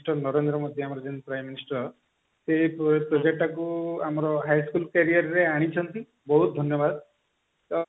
Mr. Narendra Modi ଆମର ଯେମତି prime minister ସେ project ଟା କୁ ଆମର high school career ରେ ଆଣିଛନ୍ତି ବହୁତ ଧନ୍ୟବାଦ ତ